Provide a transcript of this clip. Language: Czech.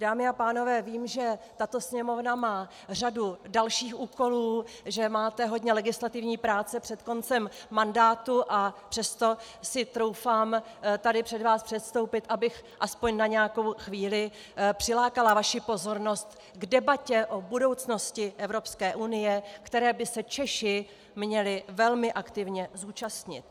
Dámy a pánové, vím, že tato Sněmovna má řadu dalších úkolů, že máte hodně legislativní práce před koncem mandátu, a přesto si troufám tady před vás předstoupit, abych alespoň na nějakou chvíli přilákala vaši pozornost k debatě o budoucnosti Evropské unie, které by se Češi měli velmi aktivně účastnit.